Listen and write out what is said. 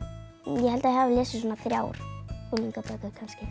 ég held ég hafi lesið svona þrjár unglingabækur kannski